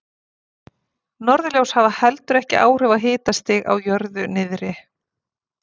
Norðurljós hafa heldur ekki áhrif á hitastig á jörðu niðri.